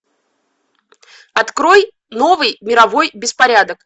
открой новый мировой беспорядок